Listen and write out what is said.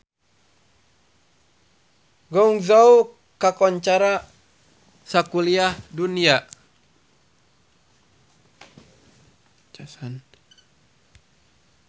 Guangzhou kakoncara sakuliah dunya